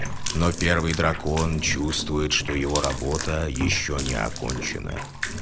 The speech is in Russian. но первый дракон чувствует что его работа ещё не окончена